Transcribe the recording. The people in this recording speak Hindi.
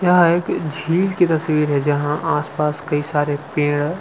यह एक झील की तस्वीर है जहां आसपास कई सारे पेड़--